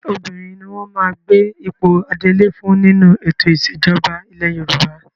Obìnrin ni wọ́n máa gbé ipò adelé fún nínú ètò ìṣẹ̀jọba ilẹ̀ Yorùbá.